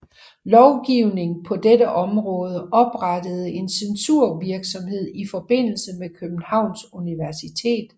Lovgivning på dette område oprettede en censurvirksomhed i forbindelse med Københavns Universitet